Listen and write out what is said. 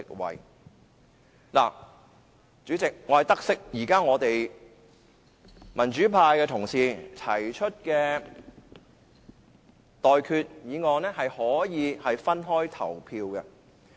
代理主席，我得悉現時民主派的同事提出的修訂議案可以分開進行表決。